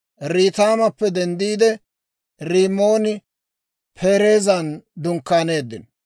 Riitimappe denddiide, Rimmooni-Pereezan dunkkaaneeddino.